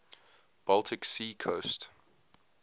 baltic sea coast